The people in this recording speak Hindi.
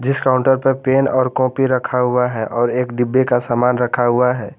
जिस काउंटर पे पेन और कॉपी रखा हुआ है और एक डिब्बे का सामान रखा हुआ है।